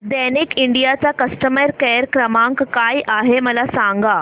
Daikin India चा customer care क्रमांक काय आहे मला सांगा